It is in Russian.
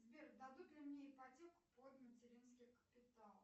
сбер дадут ли мне ипотеку под материнский капитал